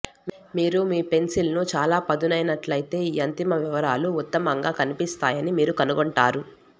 మీరు మీ పెన్సిల్ను చాలా పదునైనట్లయితే ఈ అంతిమ వివరాలు ఉత్తమంగా కనిపిస్తాయని మీరు కనుగొంటారు